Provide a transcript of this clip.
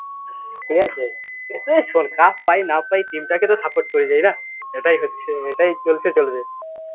ঠিকাছে? এই শুন cup পাই না পাই team টাকে তো support করি এইনা, এটাই হচ্ছে, এটাই চলছে চলবে।